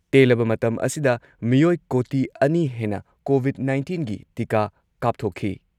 ꯇꯦꯜꯂꯕ ꯃꯇꯝ ꯑꯁꯤꯗ ꯃꯤꯑꯣꯏ ꯀꯣꯇꯤ ꯑꯅꯤ ꯍꯦꯟꯅ ꯀꯣꯚꯤꯗ ꯅꯥꯏꯟꯇꯤꯟꯒꯤ ꯇꯤꯀꯥ ꯀꯥꯞꯊꯣꯛꯈꯤ ꯫